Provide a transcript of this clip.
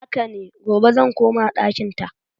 Haka ne, gobe zan koma ɗakinta.